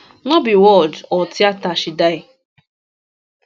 no be ward or theatre she die